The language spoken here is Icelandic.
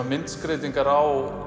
myndskreytingar á